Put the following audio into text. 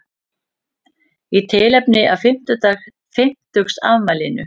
Í tilefni af fimmtugsafmælinu